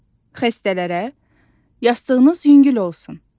Xəstələrə yastığınız yüngül olsun.